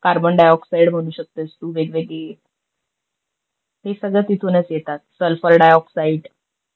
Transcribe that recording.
Carbon dioxide म्हणू शकतेस तु वेगवेगळी हे सगळ तिथूनच येतात, सल्फर डायऑक्षाईड.